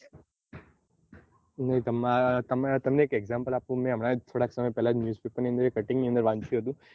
તમે એક example આપો મેં હમણાં જ થોડા સમય પેહલા જ news paper ની અન્દર એક cutting ની અન્દર વાંચ્યું હતું